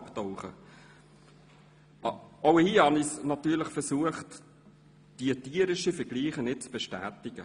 Auch hier habe ich natürlich versucht, diesen tierischen Vergleich nicht zu bestätigen.